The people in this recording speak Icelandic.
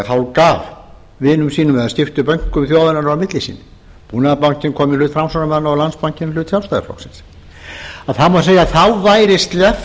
hálfgaf vinum sínum eða skipti bönkum þjóðarinnar á milli sín búnaðarbankinn kom í hut framsóknarmanna og landsbankinn í hlut sjálfstæðisflokksins má segja að væri sleppt